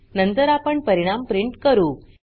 नंतर आपण परिणाम प्रिंट करू